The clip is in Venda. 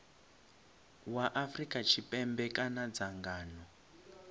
wa afrika tshipembe kana dzangano